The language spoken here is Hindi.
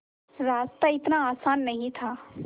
रास्ता इतना आसान नहीं था